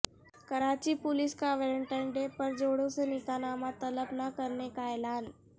Karachi police کا Valentine Day پر جوڑوں سے نکاح نامہ طلب نہ کرنے کا اعلان